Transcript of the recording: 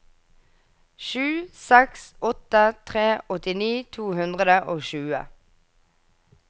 sju seks åtte tre åttini to hundre og tjue